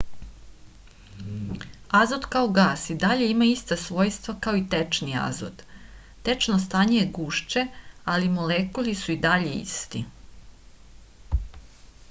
azot kao gas i dalje ima ista svojstva kao i tečni azot tečno stanje je gušće ali molekuli su i dalje isti